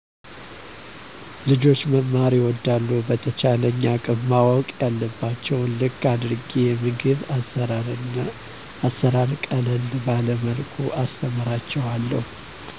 ልጆች መማር ይወዳሉ በተቻለኝ አቅም ማወቅ ያለባቸውን ልክ አድርጌ የምግብ አሰራር ቀለል ባለመልኩ አስተምራቸውለሁ